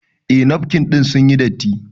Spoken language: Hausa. Eh nafkin ɗin sun yi datti